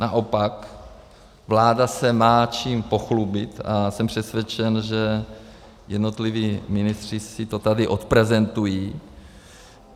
Naopak vláda se má čím pochlubit a jsem přesvědčen, že jednotliví ministři si to tady odprezentují.